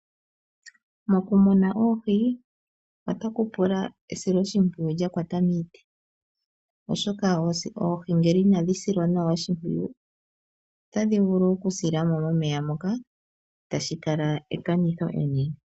Mokumuna oohi otaku pula esiloshimpwiyu lyakwata miiti oshoka oohi ngele inadhi silwa nawa oshimpwiyu, otadhi vulu okusila mo momeya moka tashi kala ekanitho enene.